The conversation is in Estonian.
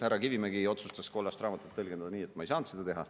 Härra Kivimägi otsustas kollast raamatut tõlgendada nii, et ma ei saanud seda teha.